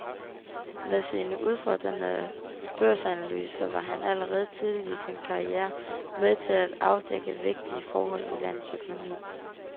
Med sine udfordrende børsanalyser var han allerede tidligt i sin karriere med til at afdække vigtige forhold i landets økonomi.